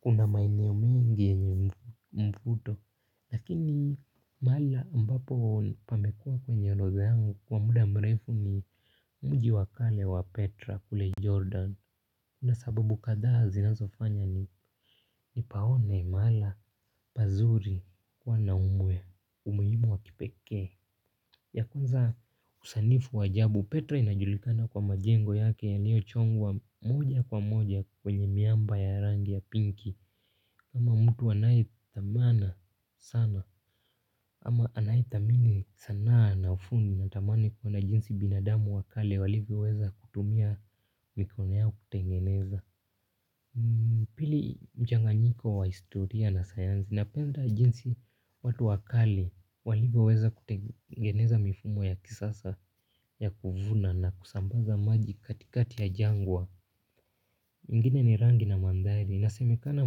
Kuna maeneo mingi yenye mvuto. Lakini mahali ambapo pamekua kwenye orodha yangu kwa muda mrefu ni mji wa kale wa Petra kule Jordan. Kuna sababu kadhaa zinazofanya nipaone mahala pazuri kuwa na umuhimu wa kipekee. Ya kuzaa usanifu wa ajabu Petra inajulikana kwa majengo yake yaliochongwa moja kwa moja kwenye miamba ya rangi ya pinki. Kama mtu anayethamana sana ama anayethamini sanaa na ufundi natamani kuona jinsi binadamu wa kale walivyoweza kutumia mikono yao kutengeneza. Pili mchanganyiko wa historia na sayansi. Napenda jinsi watu wa kale walivyoweza kutengeneza mifumo ya kisasa ya kuvuna na kusambaza maji katikati ya jangwa. Mengine ni rangi na mandhari inasemekana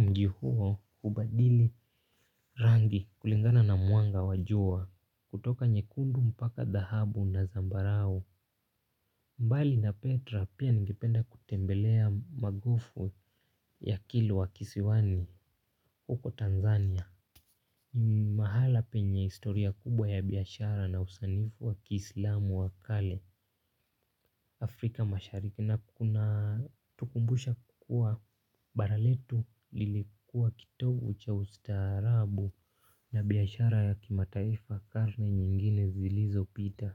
mji huo hubadili rangi kulingana na mwanga wa jua kutoka nyekundu mpaka dahabu na zambarau. Mbali na Petra pia ningependa kutembelea magufu ya kilu wa kisiwani huko Tanzania. Mahala penye historia kubwa ya biashara na usanifu wa kiislamu wa kale Afrika mashariki na kuna tukumbusha kukua bara letu lilikuwa kitovu cha ustaarabu na biashara ya kimataifa karne nyingine zilizopita.